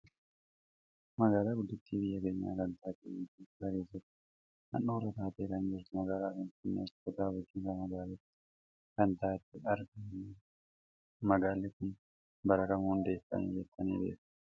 Magaalaa guddittii biyya keenya kan taate biyya Itoopiyaa keessatti handhuura taatee kan jirtu magaalaa Finfinneetti kutaa bulchiinsa magaalitti kan taate argaa kan jirrudha. Magaalaan kun bara kam hundeeffame jettanii beektu?